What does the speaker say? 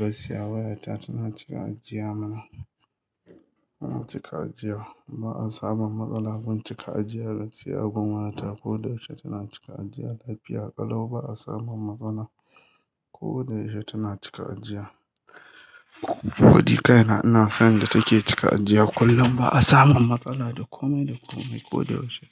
Gaskiya wayata tana cika ajiya mana, tana cika ajiya. Ba a samun matsala gun cika ajiya gaskiya. Gum waya ko da yaushe tana cika ajiya lafiya ƙalau. Ba a samu matsala ko da yaushe tana cika ajiya. Wadi kai na, ina san da take cika ajiya kullum. Ba a samu matsala da komai da komai. Ko da yaushe